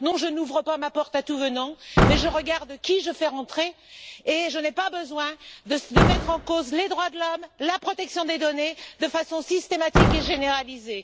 Non, je n'ouvre pas ma porte à tout venant, mais je regarde qui je fais rentrer et je n'ai pas besoin de mettre en cause les droits de l'homme et la protection des données de façon systématique et généralisée.